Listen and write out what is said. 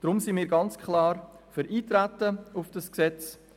Darum sind wir klar für das Eintreten auf das Gesetz.